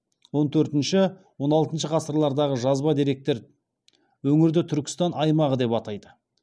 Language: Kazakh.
он төртінші он алтыншы ғасырлардағы жазба деректер өңірді түркістан аймағы деп атайды